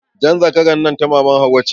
Jan zakaran nan ta maman Hauwa ce.